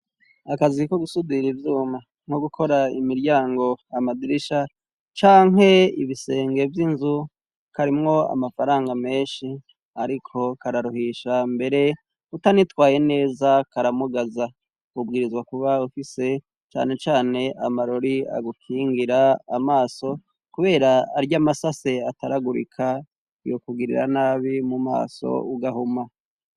Akaziko gusudira ivyuma nko gukora imiryango amadirisha canke ibisenge vy'inzu karimwo amafaranga menshi, ariko kararuhisha mbere utanitwaye neza karamugaza kubwirizwa kuba ufise canecane amarori agukingira amaso, kubera aryo amasase ataragurika iyo kugirira nabi mu maso ugahuma.